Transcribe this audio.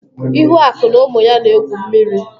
Ihuaku na ụmụ ya na egwu mmiri.